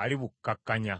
alibukkakkanya.